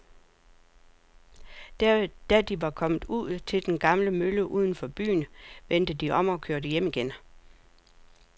Da de var kommet ud til den gamle mølle uden for byen, vendte de om og kørte hjem igen.